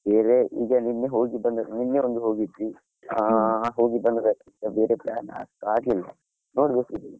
ಇದೆ ಈಗ ನಿನ್ನೆ ಹೋಗಿ ಬಂದದ್ದು ಒಂದು ಹೋಗಿದ್ವಿ, ಹಾ ಹೋಗಿ ಬಂದದ್ದಷ್ಟೇ ಬೇರೆ plan ಅಷ್ಟ್ ಆಗ್ಲಿಲ್ಲ ನೋಡ್ಬೇಕು .